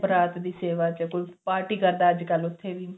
ਬਰਾਤ ਦੀ ਸੇਵਾ ਚ ਕੋਈ ਪਾਰਟੀ ਕਰਦਾ ਅੱਜ ਕੱਲ ਉੱਥੇ ਵੀ